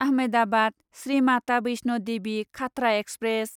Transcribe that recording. Ahmedabad Shri Mata Vaishno Devi Katra express